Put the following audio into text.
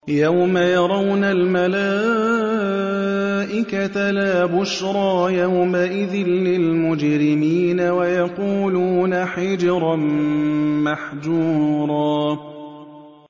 يَوْمَ يَرَوْنَ الْمَلَائِكَةَ لَا بُشْرَىٰ يَوْمَئِذٍ لِّلْمُجْرِمِينَ وَيَقُولُونَ حِجْرًا مَّحْجُورًا